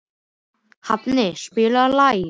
Hafni, spilaðu lag.